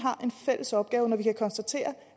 fælles opgave når vi kan konstatere